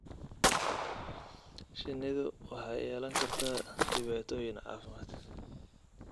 Shinnidu waxay yeelan kartaa dhibaatooyin caafimaad.